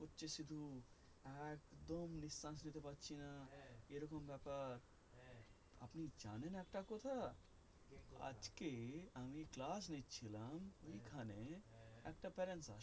একদম নিঃশ্বাস নিতে পাচ্ছি না এই রকম ব্যাপার আপনি জানেন একটা কথা আজকে আমি ক্লাস নিচ্ছি লাম ওই খানে একটা parents আসে